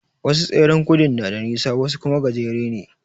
Wasu tseren gudun na da nisa wasu kuma gajere ne.